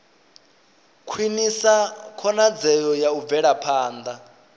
khwinisa khonadzeo ya u bvelaphanda